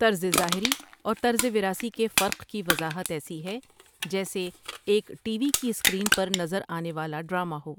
طرزظاہری اور طرزوراثی کے فرق کی وضاحت ایسی ہے کہ جیسے ایک ٹی وی کی اسکرین پر نظر آنے والا ڈراما ہو ۔